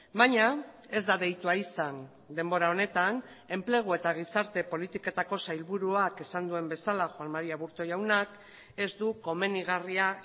baina ez da deitua izan denbora honetan enplegu eta gizarte politiketako sailburuak esan duen bezala juan mari aburto jaunak ez du komenigarria